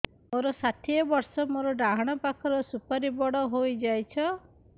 ମୋର ଷାଠିଏ ବର୍ଷ ମୋର ଡାହାଣ ପାଖ ସୁପାରୀ ବଡ ହୈ ଯାଇଛ